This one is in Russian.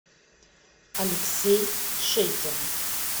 алексей шейкин